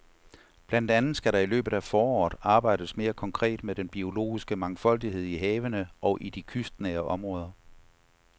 Blandt andet skal der i løbet af foråret arbejdes mere konkret med den biologiske mangfoldighed i havene og i de kystnære områder.